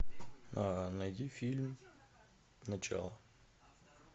найди фильм начало